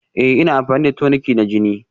Ee ina amfani da toniki na jini